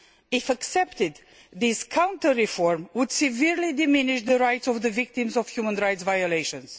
If accepted, these counter reforms would severely diminish the rights of the victims of human rights violations.